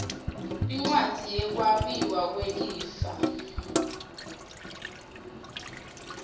incwadzi yekwabiwa kwelifa